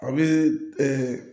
A bɛ